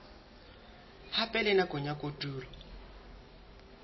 hape le nakong ya kotulo